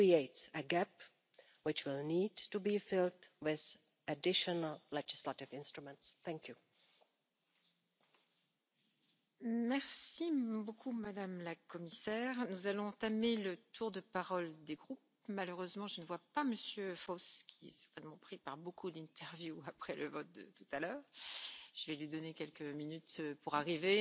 January 2017 and Parliament adopted its position in October. But ever since then, the file has been stuck in the Council. Member States are unwilling to make a bold step towards protecting fundamental rights online, despite the fact that the current e-privacy rules do not even cover main players such as Facebook or WhatsApp, and this